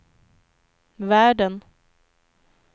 världen